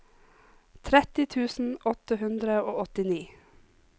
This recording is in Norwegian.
tretti tusen åtte hundre og åttini